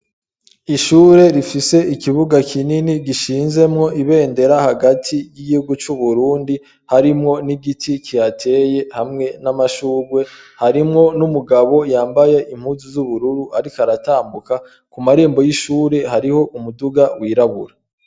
Ishure rifise ikibuga kinini gishinzemwo ibendera hagati y'igrwu c'uburundi harimwo n'igiti kihateye hamwe n'amashurwe harimwo n'umugabo yambaye impuzu z'ubururu, ariko aratambuka ku marembo y'ishure hariho umuduga wirabura.